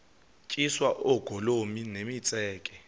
tyiswa oogolomi nemitseke